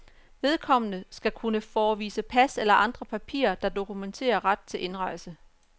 Vedkommende skal kunne forevise pas eller andre papirer, der dokumenterer ret til indrejse.